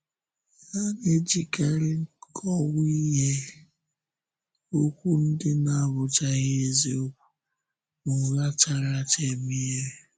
Ha na-ejikarị nkọ̀wáhìé, okwu ndị na-abụchaghị eziokwu, na ụgha chára áchá eme ihe.